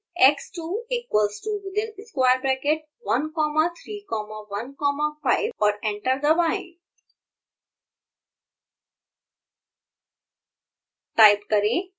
type करें x2 equals to within square braccket one comma three comma one comma five और enter दबाएँ